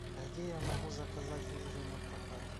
где я могу заказать лыжи напрокат